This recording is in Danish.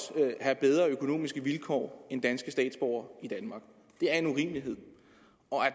have bedre økonomiske vilkår end danske statsborgere i danmark det er en urimelighed